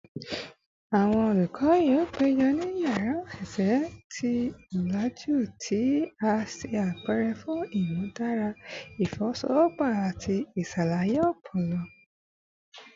Awọn olukọ yoo pejọ ni yara oṣiṣẹ ti olaju ti a ṣe apẹrẹ fun imudara ifowosowopo ati iṣalaye ọpọlọ